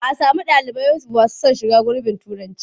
Ba a sami ɗalibai masu son shiga gurbin karanta Turanci ba.